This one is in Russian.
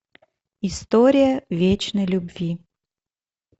история вечной любви